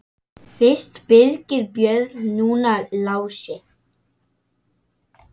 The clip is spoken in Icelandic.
Fyrst Birgir Björn, núna Lási.